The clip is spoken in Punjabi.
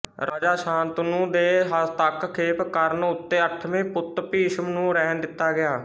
ਰਾਜਾ ਸ਼ਾਂਤਨੂੰ ਦੇ ਹਸਤੱਕਖੇਪ ਕਰਣ ਉੱਤੇ ਅਠਵੇਂ ਪੁੱਤ ਭੀਸ਼ਮ ਨੂੰ ਰਹਿਣ ਦਿੱਤਾ ਗਿਆ